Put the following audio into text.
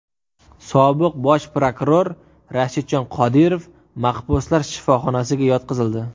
Sobiq bosh prokuror Rashidjon Qodirov mahbuslar shifoxonasiga yotqizildi .